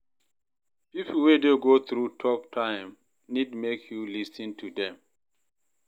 Pipo wey dey go thru tough time nid mek yu lis ten to them.